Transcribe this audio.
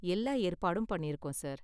எல்லா ஏற்பாடும் பண்ணிருக்கோம் சார்.